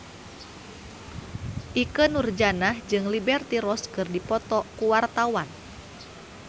Ikke Nurjanah jeung Liberty Ross keur dipoto ku wartawan